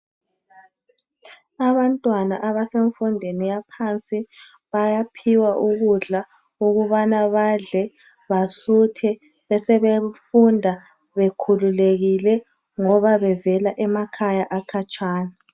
Abantwana abasemfundweni yaphansi bayaphiwa ukudla ukubana badle basuthe besebefunda bekhululekile ngiba bevela emakhaya akhatshana.